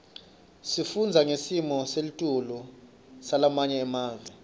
sifundza ngesimo selitulu salamanye emave